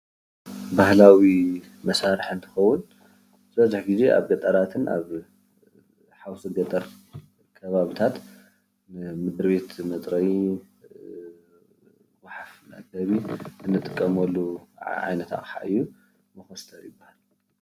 ባህላዊ መሳርሒ እንትኸውን ዝበዝሕ ግዜ ኣብ ገጠራትን ኣብ ሓውሲ ገጠር ኸባቢታት ንምድርቤት መፅረዩ፣ ጉሓፍ መእከቢ እንጥቀመሉ ዓይነት ኣቅሓ እዩ መኾስተር ይበሃል።